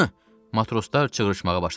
Matroslar çığrışmağa başladılar.